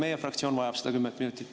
Meie fraktsioon vajab seda kümmet minutit.